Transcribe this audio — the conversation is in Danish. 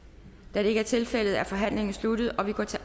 da det ikke er tilfældet er forhandlingen sluttet og vi går til